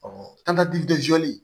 an ka